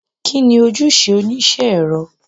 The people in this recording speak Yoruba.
Kini ojuse onisẹ ẹrọ?